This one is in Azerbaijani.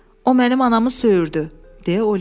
"O mənim anamı söyürdü" deyə Oliver cavab verdi.